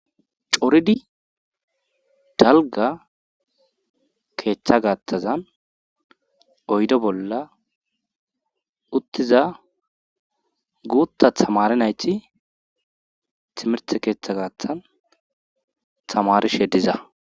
Coridi dalga keeththa gaattazan oydo bolla uttiza guutta tamari nayti timirte keeththa gaaththan tamarishe diza